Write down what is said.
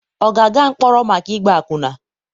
ọ ga-aga mkpọrọ maka ịgba akwụna?